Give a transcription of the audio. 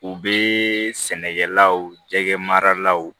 U bɛ sɛnɛkɛlaw jɛgɛ maralaw